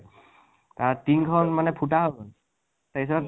তাত টিন্খন মানে ফুতা হৈ গল, তাৰ পিছত